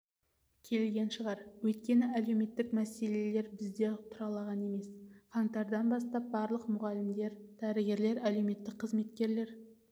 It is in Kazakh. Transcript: келген шығар өйткені әлеуметтік мәселелер бізде тұралаған емес қаңтардан бастап барлық мұғалімдер дәрігерлер әлеуметтік қызметкерлер